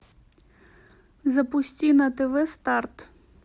запусти на тв старт